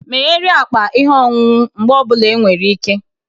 Megharịa akpa ihe ọṅụṅụ mgbe ọ bụla enwere ike